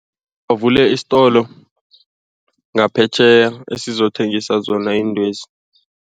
Uvule isitolo ngaphetjheya esizokuthengisa zona iintwezi.